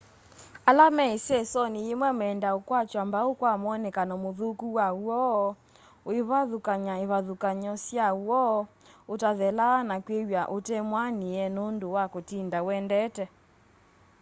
ala me isesoni yimwe meendaa ukwatwa mbau kwa mwonekano muthuku wa woo uivathukany'a ivathukany'o sya woo utathelaa na kwiw'a utemwianie nundu wa kutinda uendete